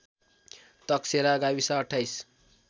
तकसेरा गाविस २८